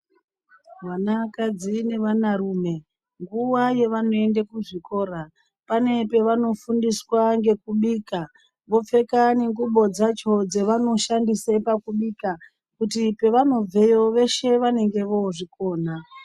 Vana kadzi nevana rume nguva yavanoenda kuzvikora pane pavanofundiswa ngekubika vopfeka ngengubo dzakona dzavanoshandisa pakubika kuti pavanobveyo veshe vanenge vozvikona.